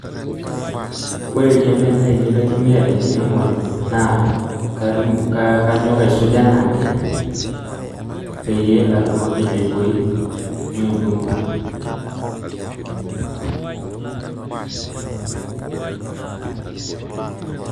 Ore ilkemben lainei laitumia tenkiremoye naa kanyok aisuj anaake peyie atumoki aibooi meibung kutu.